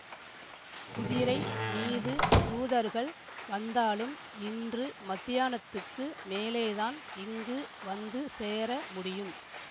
குதிரை மீது தூதர்கள் வந்தாலும் இன்று மத்தியானத்துக்கு மேலேதான் இங்கு வந்து சேர முடியும்